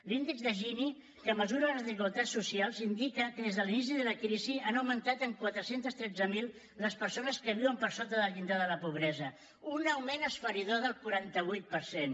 l’índex de gini que mesura les desigualtats socials indica que des de l’inici de la crisi han augmentat en quatre cents i tretze mil les persones que viuen per sota del llindar de la pobresa un augment esfereïdor del quaranta vuit per cent